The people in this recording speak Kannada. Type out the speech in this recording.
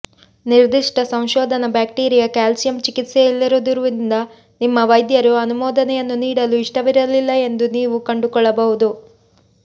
ನಿರ್ದಿಷ್ಟ ಸಂಶೋಧನಾ ಬ್ಯಾಕ್ಟೀರಿಯ ಕ್ಯಾಲ್ಸಿಯಂ ಚಿಕಿತ್ಸೆಯಿಲ್ಲದಿರುವುದರಿಂದ ನಿಮ್ಮ ವೈದ್ಯರು ಅನುಮೋದನೆಯನ್ನು ನೀಡಲು ಇಷ್ಟವಿರಲಿಲ್ಲ ಎಂದು ನೀವು ಕಂಡುಕೊಳ್ಳಬಹುದು